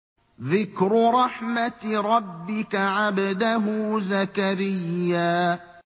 ذِكْرُ رَحْمَتِ رَبِّكَ عَبْدَهُ زَكَرِيَّا